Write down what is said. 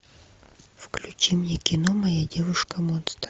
включи мне кино моя девушка монстр